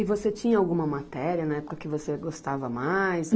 E você tinha alguma matéria na época que você gostava mais?